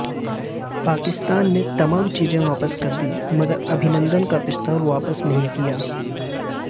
پاکستان نے تمام چیزیں واپس کر دیں مگر ابھی نندن کا پستول واپس نہیں کیا